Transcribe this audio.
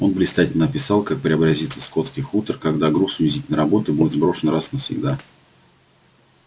он блистательно описал как преобразится скотский хутор когда груз унизительной работы будет сброшен раз и навсегда